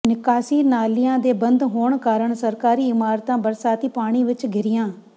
ਨਿਕਾਸੀ ਨਾਲਿਆਂ ਦੇ ਬੰਦ ਹੋਣ ਕਾਰਨ ਸਰਕਾਰੀ ਇਮਾਰਤਾਂ ਬਰਸਾਤੀ ਪਾਣੀ ਵਿੱਚ ਘਿਰੀਆਂ